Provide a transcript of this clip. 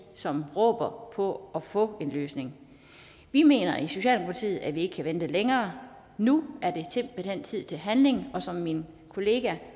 som råber på at få en løsning vi mener i socialdemokratiet at vi ikke kan vente længere nu er simpelt hen tid til handling som min kollega